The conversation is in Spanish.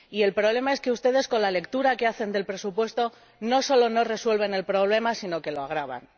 Y el problema es que ustedes, con la lectura que hacen del presupuesto, no solo no resuelven el problema, sino que lo agravan.